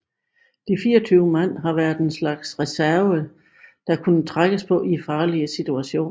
De 24 mand har været en slags reserve der kunne trækkes på i farlige situationer